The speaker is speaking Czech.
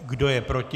Kdo je proti?